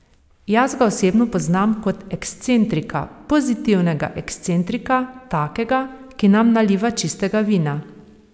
Jaz ga osebno poznam kot ekscentrika, pozitivnega ekscentrika, takega, ki nam naliva čistega vina.